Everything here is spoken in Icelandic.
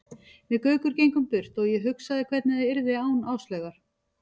Við Gaukur gengum burt og ég hugsaði hvernig það yrði án Áslaugar.